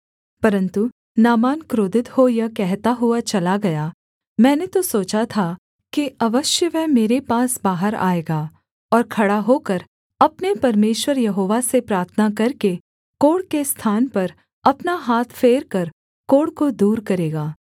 परन्तु नामान क्रोधित हो यह कहता हुआ चला गया मैंने तो सोचा था कि अवश्य वह मेरे पास बाहर आएगा और खड़ा होकर अपने परमेश्वर यहोवा से प्रार्थना करके कोढ़ के स्थान पर अपना हाथ फेरकर कोढ़ को दूर करेगा